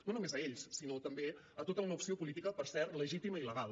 no només a ells sinó també tota una opció política per cert legítima i legal